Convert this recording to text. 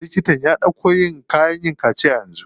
Liktan ya ɗauko kayan yin kaciya yanzu.